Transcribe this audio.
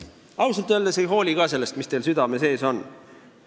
Ausalt öeldes ma ka ei hooli sellest, mis teil südame sees on.